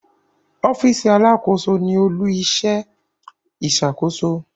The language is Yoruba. Ọfiisi Alàkóso ní olu-iṣẹ iṣakoso